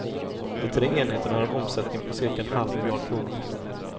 De tre enheterna har en omsättning på cirka en halv miljard kronor.